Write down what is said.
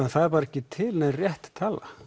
það er bara ekki til nein rétt tala